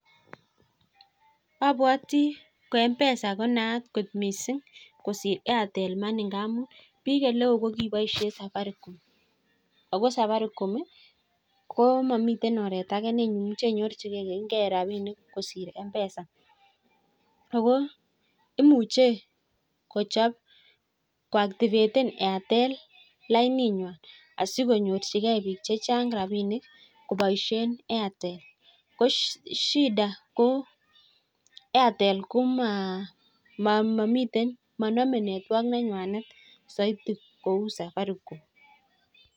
Obwotii ko m-pesa konaat kot missing kosir Airtel money amun bik oleo ko kiboishen safaricom Ako safaricom ko momiten oret age neimuche inyorchigee rabinik kosir m-pesa Ako imoche kochob ko activaten Airtel laininywan sikonyorchigee bik chechang rabinik koboishen Airtel ko shida ko Airtel komaa momiten monome network nenywanet soiti kou safaricom.